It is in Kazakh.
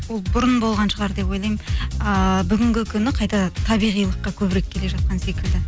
ол бұрын болған шығар деп ойлаймын ыыы бүгінгі күні қайта табиғилыққа көбірек келе жатқан секілді